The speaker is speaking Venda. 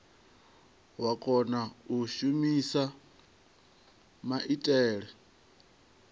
wa kona u shumisa maitele